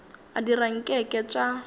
a dira nke ke tša